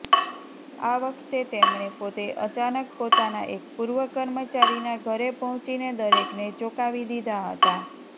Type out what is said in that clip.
આ વખતે તેમણે પોતે અચાનક પોતાના એક પૂર્વ કર્મચારીના ઘરે પહોંચીને દરેકને ચોંકાવી દીધા હતા